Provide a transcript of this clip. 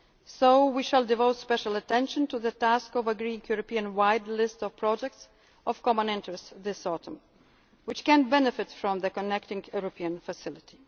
European Union. So we shall devote special attention to the task of agreeing a European wide list of projects of common interest this autumn which can benefit from the Connecting